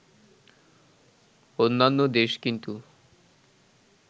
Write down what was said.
অন্যান্য দেশ কিন্তু